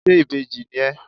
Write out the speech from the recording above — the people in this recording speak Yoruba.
ṣe ìbejí ní ẹ